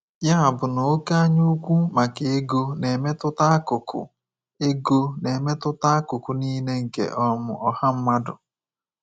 Ya bụ na oké anyaukwu maka ego na-emetụta akụkụ ego na-emetụta akụkụ niile nke um ọha mmadụ.